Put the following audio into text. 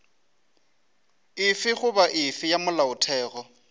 efe goba efe ya molaotheo